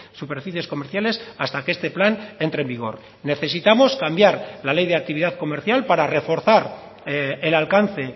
superficies comerciales hasta que este plan entre en vigor necesitamos cambiar la ley de actividad comercial para reforzar el alcance